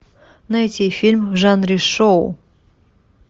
найти фильм в жанре шоу